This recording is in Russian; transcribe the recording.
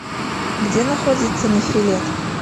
где находится нофелет